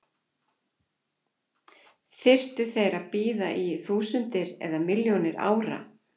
Þyrftu þeir að bíða í þúsundir eða milljónir ára?